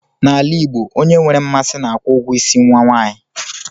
N'ala Igbo, onye nwere mmasị na-akwụ ụgwọ ịsị nwa nwanyị